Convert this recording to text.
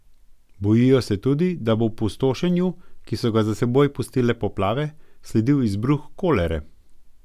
Bojijo se tudi, da bo opustošenju, ki so ga za seboj pustile poplave, sledil izbruh kolere.